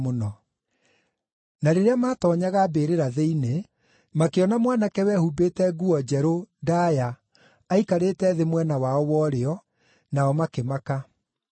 Na rĩrĩa maatoonyaga mbĩrĩra-thĩinĩ, makĩona mwanake wehumbĩte nguo njerũ ndaaya aikarĩte thĩ mwena wao wa ũrĩo, nao makĩmaka.